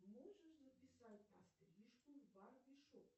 можешь записать на стрижку в барбершоп